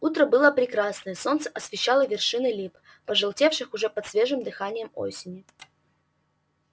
утро было прекрасное солнце освещало вершины лип пожелтевших уже под свежим дыханием осени